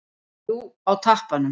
Jú, og tappanum.